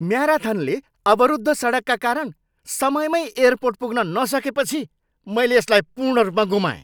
म्याराथनले अवरुद्ध सडकका कारण समयमै एयरपोर्ट पुग्न नसकेपछि मैले यसलाई पूर्ण रूपमा गुमाएँ।